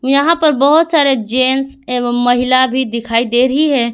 यहां पर बहोत सारे जेंस एवं महिला भी दिखाई दे रही है।